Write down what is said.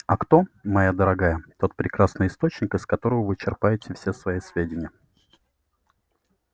а кто моя дорогая тот прекрасный источник из которого вы черпаете все свои сведения-